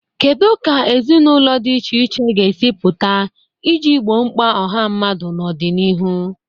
Kedu ka ezinụlọ di iche iche ga-esi pụta iji gboo mkpa ọha mmadụ n'ọdịnihu?